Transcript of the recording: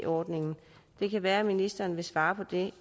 ordningen det kan være ministeren vil svare på det